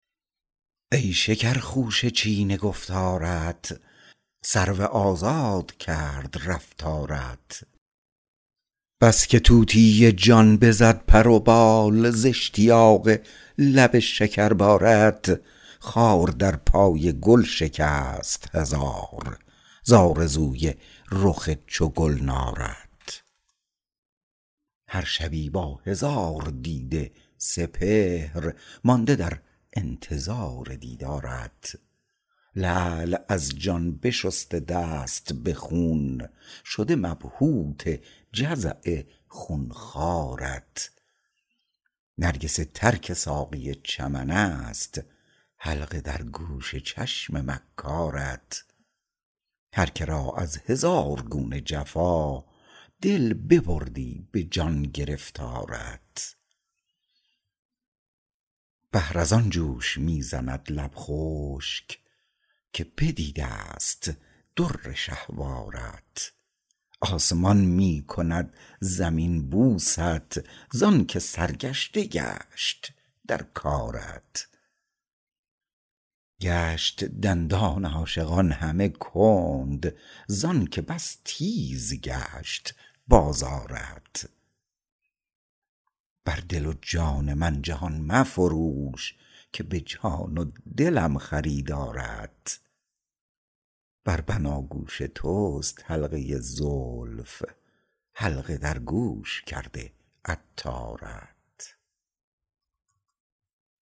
ای شکر خوشه چین گفتارت سرو آزاد کرد رفتارت بس که طوطی جان بزد پر و بال ز اشتیاق لب شکر بارت خار در پای گل شکست هزار ز آرزوی رخ چو گلنارت هر شبی با هزار دیده سپهر مانده در انتظار دیدارت لعل از جان بشسته دست به خون شده مبهوت جزع خون خوارت نرگس تر که ساقی چمن است حلقه در گوش چشم مکارت هرکه را از هزار گونه جفا دل ببردی به جان گرفتارت بحر از آن جوش می زند لب خشک که بدیدست در شهوارت آسمان می کند زمین بوست زانکه سرگشته گشت در کارت گشت دندان عاشقان همه کند زانکه بس تیز گشت بازارت بر دل و جان من جهان مفروش که به جان و دلم خریدارت بر بناگوش توست حلقه زلف حلقه در گوش کرده عطارت